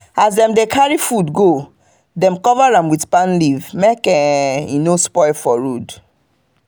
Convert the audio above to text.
as dem dey carry the food go dem cover am with palm leaf make e no spoil for road.